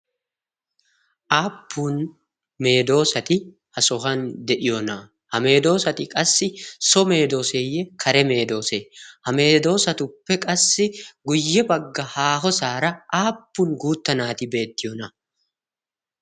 Aappun meedoosati ha sohuwan de'iyoona? Ha meedoosati qassi so meedoosatey kare meedoose? Ha meedoosatuppe qassi guyye bagga haahosaara aappun guutta naati beettiyoona?